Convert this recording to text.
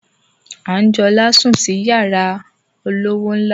Anjola sùn sí yara olówó ńlá